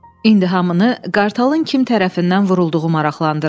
İndi hamını qartalın kim tərəfindən vurulduğu maraqlandırırdı.